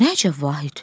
Nə əcəb, Vahid?